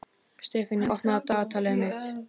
Sefanía, opnaðu dagatalið mitt.